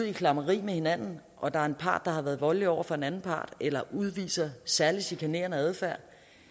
i klammeri med hinanden og der er en part der har været voldelig over for en anden part eller udviser særlig chikanerende adfærd